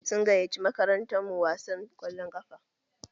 Sun gayyaci makarantar mu wasan ƙwallon ƙafa.